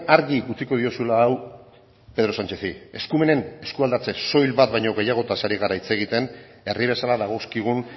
argi utziko diozula hau pedro sanchezi eskumenen eskualdatze soil bat baino gehiagoz ari gara hitz egiten herri bezala dagozkigun